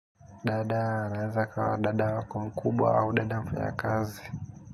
Dada, anaweza akawa dada wako mkubwa au dada mfanya kazi.